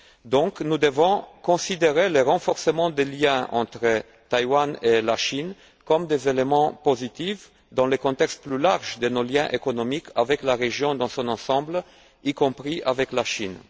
Donc, nous devons considérer le renforcement des liens entre Taïwan et la Chine comme un élément positif dans le contexte plus large de nos liens économiques avec la région dans son ensemble, y compris avec la Chine.